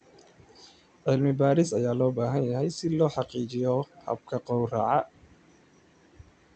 Cilmi-baaris ayaa loo baahan yahay si loo hagaajiyo hababka gawraca.